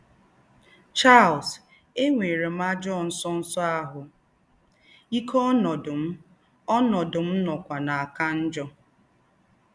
Charles: “Ènwērē m àjọ̄ ńsọ̄nsọ̄ àhū́ íkē, ònọ̄dụ̄ m ònọ̄dụ̄ m nọ̄kwā nà-àkà njọ̄